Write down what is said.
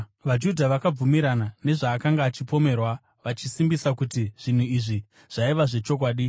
VaJudha vakabvumirana nezvaakanga achipomerwa, vachisimbisa kuti zvinhu izvi zvaiva zvechokwadi.